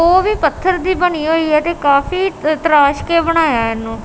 ਉਹ ਵੀ ਪੱਥਰ ਦੀ ਬਣੀ ਹੋਈ ਹੈ ਤੇ ਕਾਫੀ ਤਰਾਸ਼ ਕੇ ਬਣਾਇਆ ਹੈ ਇਹਨੂੰ।